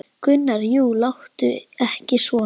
Gunnar: Jú, láttu ekki svona.